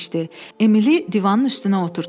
Emili divanın üstünə oturtdular.